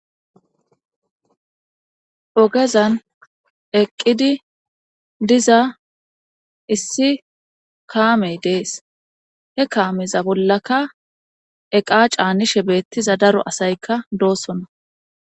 ogezan eqqidi diza issi kaamey de'es he kaameza bollaka eqa caanishe beettiza daro asaykka doosona